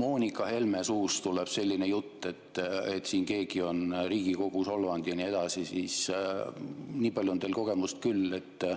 Moonika Helme suust tuleb sellist juttu, et keegi on siin Riigikogu solvanud ja nii edasi, siis nii palju on teil kogemust küll, et.